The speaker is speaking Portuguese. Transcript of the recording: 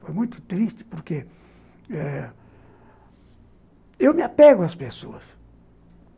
Foi muito triste porque eh eu me apego às pessoas.